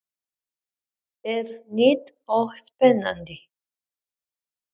Hvernig leggst þetta verkefni í þig?